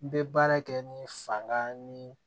N bɛ baara kɛ ni fanga ni